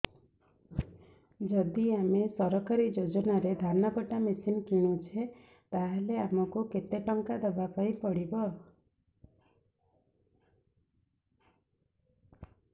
ଯଦି ଆମେ ସରକାରୀ ଯୋଜନାରେ ଧାନ କଟା ମେସିନ୍ କିଣୁଛେ ତାହାଲେ ଆମକୁ କେତେ ଟଙ୍କା ଦବାପାଇଁ ପଡିବ